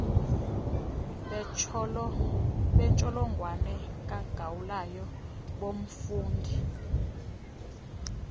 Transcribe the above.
bentsholongwane kagaulayo bomfundi